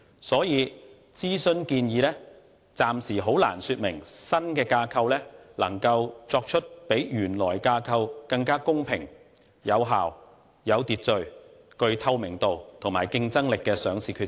所以，諮詢建議暫時很難說明新架構能夠作出比原來架構更公平、有效、有秩序、具透明度及競爭力的上市決策。